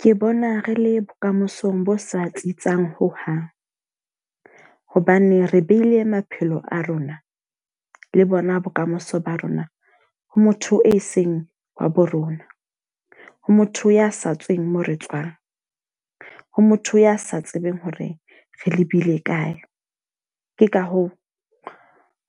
Ke bona re le bokamosong bo sa tsitsang hohang. Hobane re beile maphelo a rona, le bona bokamoso ba rona, ho motho e seng wa bo rona. Ho motho ya sa tsweng moo re tswang, ho motho ya sa tsebeng hore re lebile kae. Ke ka hoo,